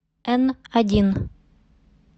н один